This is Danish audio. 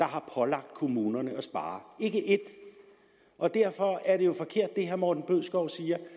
har pålagt kommunerne at spare ikke ét og derfor er det herre morten bødskov siger